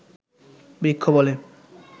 বৃক্ষ বলে